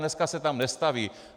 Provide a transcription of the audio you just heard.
Dneska se tam nestaví.